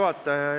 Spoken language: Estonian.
Hea juhataja!